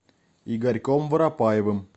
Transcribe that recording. игорьком воропаевым